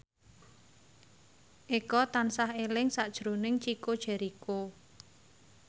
Eko tansah eling sakjroning Chico Jericho